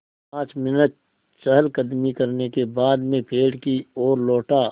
पाँच मिनट चहलकदमी करने के बाद मैं पेड़ की ओर लौटा